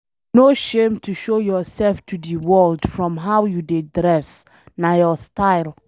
No shame to show yourself to de world from how you dey dress na your style.